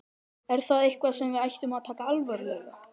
Er það eitthvað sem við ættum að taka alvarlega?